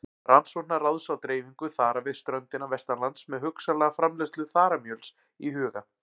Rannsóknaráðs á dreifingu þara við ströndina vestanlands með hugsanlega framleiðslu þaramjöls í huga.